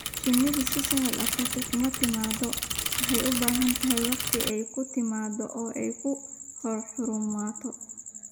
Shinnidu si sahal ah kuma timaado, waxayna u baahantahay wakhti ay ku taranto oo ay ku horumarto.